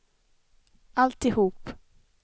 alltihop